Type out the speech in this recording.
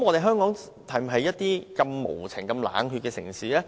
香港是否一個對動物無情冷血的城市？